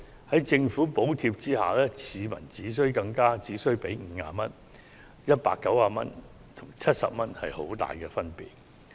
在政府補貼下，市民只需支付50元，而190元跟70元之間，確實是有很大分別。